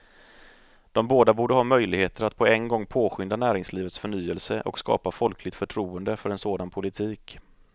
De båda borde ha möjligheter att på en gång påskynda näringslivets förnyelse och skapa folkligt förtroende för en sådan politik.